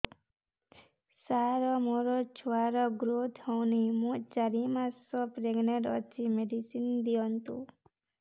ସାର ମୋର ଛୁଆ ର ଗ୍ରୋଥ ହଉନି ମୁ ଚାରି ମାସ ପ୍ରେଗନାଂଟ ଅଛି ମେଡିସିନ ଦିଅନ୍ତୁ